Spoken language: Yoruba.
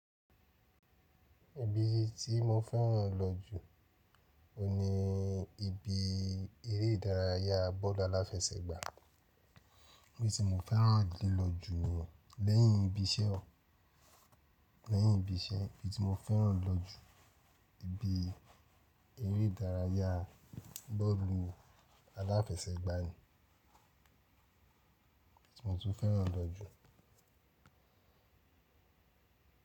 Ibi tí mo fẹ́ràn lọ jù oun ni ibi eré ìdárayá bọ́ọ̀lù aláfẹsẹ̀gbá. Ibi tí mo fẹ́ràn lílò jù ni yẹn, lẹ́yìn ibi iṣẹ́ o, lẹ́yìn ibi iṣẹ́ ibi tí mo fẹ́ràn lo jù ibi eré dárayá bọ́ọ̀lù aláfẹsẹ̀gbá aláfẹsẹ̀gbá ni, ibi tí mo tún fẹ́ràn lọ jù.